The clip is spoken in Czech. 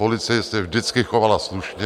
Policie se vždycky chovala slušně.